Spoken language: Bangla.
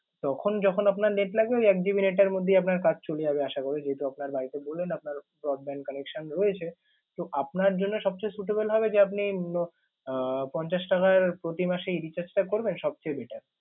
তখন যখন আপনার net লাগবে ঐ এক GB net এর মধ্যেই আপনার কাজ চলে যাবে আশা করি। যেহেতু আপনার বাড়িতে বললেন আপনার broadband connection রয়েছে তো আপনার জন্য সবচেয়ে suitable হবে যে আপনি আহ পঞ্চাশ টাকার প্রতিমাসের recharge টা করলে সবচেয়ে better